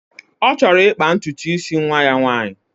Ọ chọrọ ịkpa ntutu isi nwa ya nwaanyị